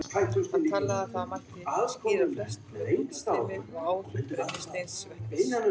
Hann taldi að þar mætti skýra flest með útstreymi og áhrifum brennisteinsvetnis.